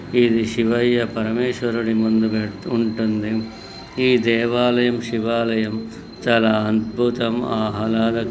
ఇది శివయ్య పరమేశ్వరుడి ముందుగా ఉంటుంది ఈ దేవాలయం శివాలయం చాలా అద్భుతం ఆహ్లాదకం--